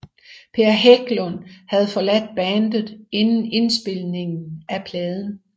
Per Hägglund havde forladt bandet inden indspilningen af pladen